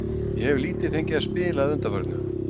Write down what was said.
Ég hef lítið fengið að spila að undanförnu.